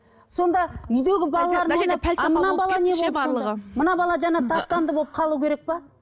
сонда үйдегі балалар мына бала жаңа тастанды болып қалу керек пе